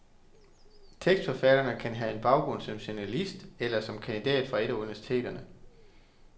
Tekstforfatteren kan have en baggrund som journalist, eller som kandidat fra et af universiteterne.